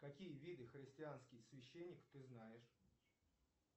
какие виды христианских священников ты знаешь